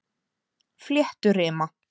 Flétturima